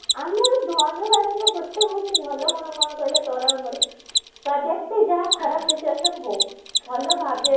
ଆମର ଧନୁ ରାଶିର ଗୋଟିଏ ହଉଛି ଭଲ ଗୁଣ କ'ଣ କହିଲ ତୋର ଆଉ ମୋର ଯେତେ ଯାହା ଖରାପ situation ହଉ ଭଲ ଭାବିବା